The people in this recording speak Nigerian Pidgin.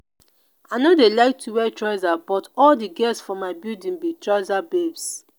i no dey like to wear trouser but all the girls for my building be trouser babes